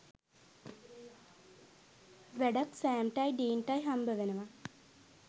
වැඩක් සෑම්ටයි ඩීන්ටයි හම්බවෙනවා